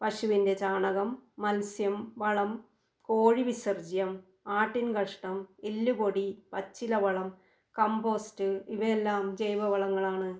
പശുവിൻ്റെ ചാണകം, മത്സ്യം, വളം, കോഴി വിസർജ്യം, ആട്ടിൻകഷ്ടം, എല്ലുപൊടി ആണ്, പച്ചിലവളം, കമ്പോസ്റ്റ് ഇവയെല്ലാം ജൈവവളങ്ങളാണ്.